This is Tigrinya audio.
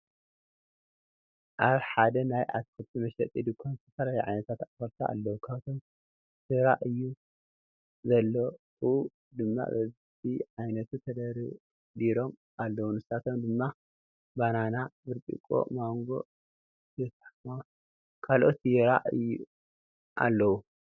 ኣብ ሓደ ናይ ኣትክልቲ መሸጢ ዱኳን ዝተፈላለዩ ዓይነት ኣትክልቲ ኣለው ካባቶም ዝራ ኣዩ ዘለዉ ድማ በቢ ዓይነቱ ተደርዲሮም ኣለው ንሳቶም ድማ ባናና ብርጭቅ ማንጎ ቱፋሕን ካልኦትን ይራ ኣዩ ኣለው::